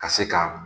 Ka se ka